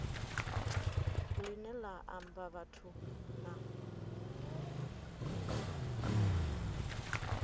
line la amba vhathu na